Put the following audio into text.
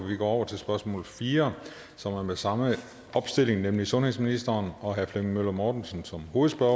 vi går over til spørgsmål nummer fire som er med samme opstilling nemlig sundhedsministeren og herre flemming møller mortensen som hovedspørger